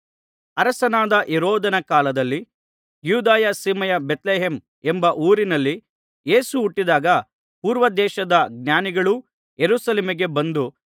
ಅರಸನಾದ ಹೆರೋದನ ಕಾಲದಲ್ಲಿ ಯೂದಾಯ ಸೀಮೆಯ ಬೇತ್ಲೆಹೇಮ್ ಎಂಬ ಊರಿನಲ್ಲಿ ಯೇಸು ಹುಟ್ಟಿದಾಗ ಪೂರ್ವದೇಶದ ಜ್ಞಾನಿಗಳು ಯೆರೂಸಲೇಮಿಗೆ ಬಂದು